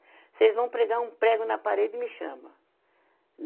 Se eles vão pregar um prego na parede, me chama.